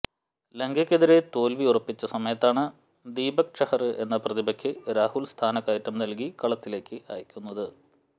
ലങ്കയ്ക്കെതിരെ തോല്വി ഉറപ്പിച്ച സമയത്താണ് ദീപക് ചഹര് എന്ന പ്രതിഭയ്ക്ക് രാഹുല് സ്ഥാനക്കയറ്റം നല്കി കളത്തിലേക്ക് അയക്കുന്നത്